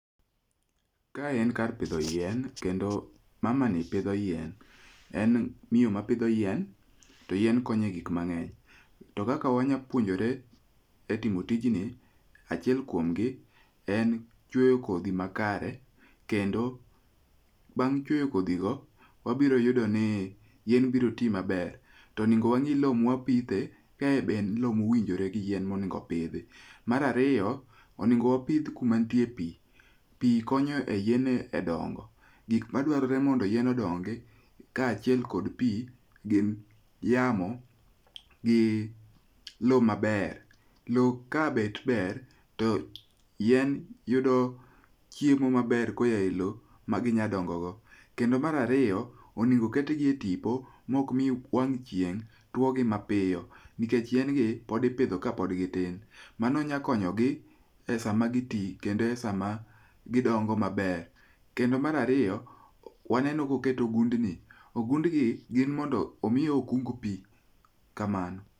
Kae en kar pidho yien kendo mama ni pidho yien, en miyo mapidho yien to yien konye gik mang'eny. To kaka wanyapuonjore e timo tijni, achiel kuomgi en chweyo kodhi makare kendo bang' chweyo kodhi go wabiro yudo ni yien biro ti maber. Tonego wang'i lo mwapithe kae be en lo mowinjore gi yien monegopidhi. Marariyo, onego wapith kumantie pi, pi konyo e yien e dongo. Gik madwarore mondo yien odongi kaachiel kod pi gin yamo, gi lo maber. Lo ka bet ber to yien yudo chiemo maber koya e lo maginyadongo go. Kendo marariyo, onego ketgi e tipo mokmi wang' chieng' tuogi mapiyo. Nikech yien gi podipidho kapod gitin, mano nyakonyo gi e sama giti kendo e sama gidongo maber. Kendo marariyo, waneno koket ogundni, ogundni gin mondo omiye okung pi, kamano.